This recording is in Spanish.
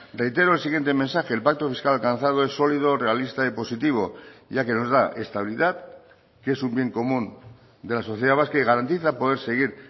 reitero el siguiente mensaje el pacto fiscal alcanzado es sólido realista y positivo ya que nos da estabilidad que es un bien común de la sociedad vasca y garantiza poder seguir